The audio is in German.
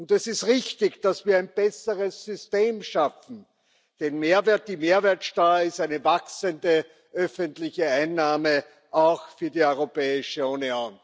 Und es ist richtig, dass wir ein besseres System schaffen, denn die Mehrwertsteuer ist eine wachsende öffentliche Einnahme, auch für die Europäische Union.